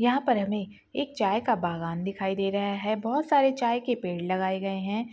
यहाँ पर हमे एक चाय का एक बागान दिखाई दे रहा है बहुत सारे चाय के पेड़ लगाए गए है